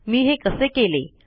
मी हे कसे केले